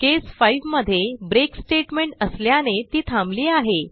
केस 5 मध्ये break statement असल्याने ती थांबली आहे